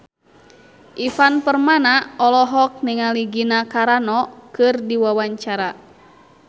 Ivan Permana olohok ningali Gina Carano keur diwawancara